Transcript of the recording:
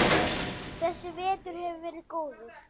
Þessi vetur hefur verið góður.